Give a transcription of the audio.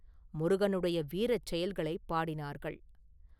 முருகனுடைய வீரச் செயல்களைப் பாடினார்கள்.